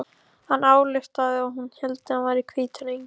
Hann ályktaði að hún héldi hann vera hvítan engil.